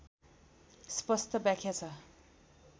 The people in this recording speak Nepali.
स्पस्ट व्याख्या छ